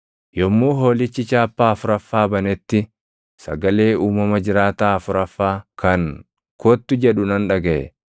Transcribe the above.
Yommuu Hoolichi chaappaa afuraffaa banetti sagalee uumama jiraataa afuraffaa kan, “Kottu!” jedhu nan dhagaʼe.